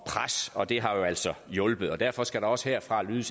pres og det har jo altså hjulpet og derfor skal der også herfra lyde